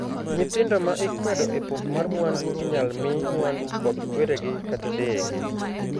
Nyithindo ma ikwedo e pok mar mwandu inyal mii mwandu kod kweregi kata deyegi.